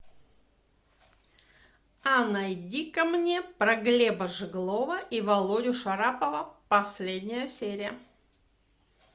а найди ка мне про глеба жеглова и володю шарапова последняя серия